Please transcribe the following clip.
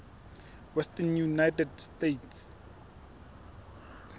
western united states